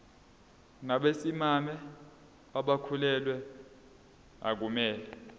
nabesimame abakhulelwe akumele